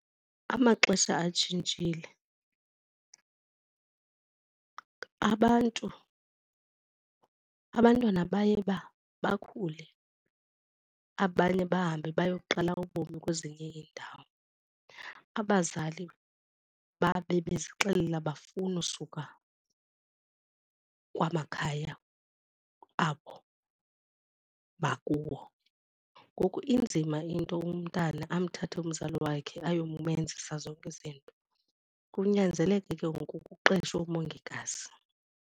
Amaxesha atshintshile. Abantu abantwana baye bakhule, abanye bahambe bayoqala ubomi kwezinye iindawo, abazali babe bezixelela abafuni usuka kwamakhaya abo bakuwo. Ngoku inzima into umntana amthathe umzali wakhe ayomenzisa zonke izinto, kunyanzeleke ke ngoku kuqeshwe umongikazi.